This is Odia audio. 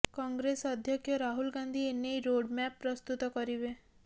କଂଗ୍ରେସ ଅଧ୍ୟକ୍ଷ ରାହୁଲ ଗାନ୍ଧି ଏନେଇ ରୋଡ୍ମ୍ୟାପ୍ ପ୍ରସ୍ତୁତ କରିବେ